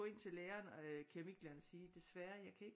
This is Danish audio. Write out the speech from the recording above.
Gå ind til læreren i keramik keramiklæreren og sige desværre jeg kan ikke